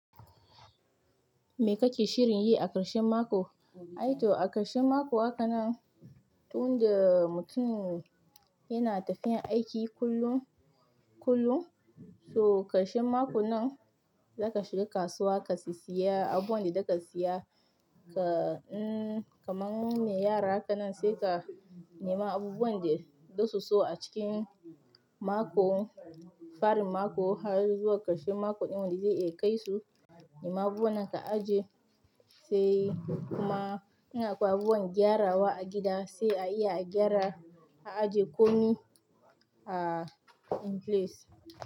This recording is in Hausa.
Me kake shirin yi a ƙarshen mako? Aito a ƙarshen mako haka nan, tun da mutum yana tafiya aiki kullum, kullum. So ƙarshen mako nan za ka shiga kasuwa ka sesaya abubuwan da za ka siya. Ka, um, kaman me yara haka nan sai ka nema abubuwan da zasu so a cikin mako, farin mako har zuwa ƙarshen mako ɗin da zai iya kai su. Amma abubuwan ka aje sai kuma in akoi abubuwan gyarawa a gida sai a iya a gyara a aje komai a place.